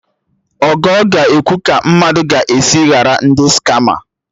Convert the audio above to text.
Ogo ga-ekwu ka mmadụ ga-esi ghara ndị skama